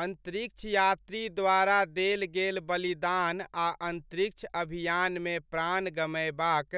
अन्तरिक्ष यात्री द्वारा देल गेल बलिदान आ अन्तरिक्ष अभियानमे प्राण गमयबाक